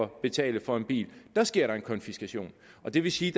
betale for en bil sker der en konfiskation det vil sige